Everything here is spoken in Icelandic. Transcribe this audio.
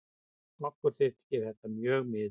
Okkur þykir þetta mjög miður.